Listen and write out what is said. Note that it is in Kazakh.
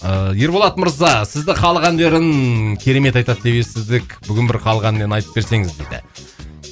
ыыы ерболат мырза сізді халық әндерін керемет айтады деп естідік бүгін бір халық әнінен айтып берсеңіз дейді